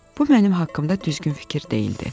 Bu mənim haqqımda düzgün fikir deyildi.